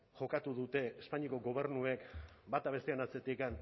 jokatu dute espainiako gobernuek bata bestearen atzetik